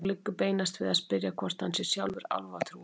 Nú liggur beinast við að spyrja hvort hann sé sjálfur álfatrúar.